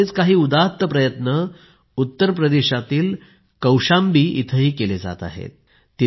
असेच काही उदात्त प्रयत्न उत्तर प्रदेशातील कौशांबी येथेही केले जात आहेत